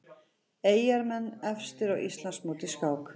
Eyjamenn efstir á Íslandsmóti í skák